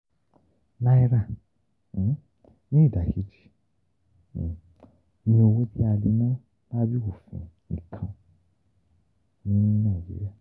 Naira, ni ida keji, ni owo ti a le na labẹ ofin nikan ni Naijiria.